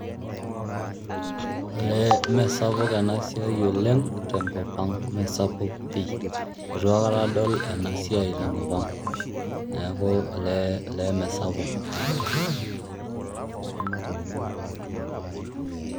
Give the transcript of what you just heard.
Elee mesapuk ena siai oleng' tenkop ang' mesapuk pii, itu aikata adol ena siai tenkop ang'. Neeku olee mee sapuk.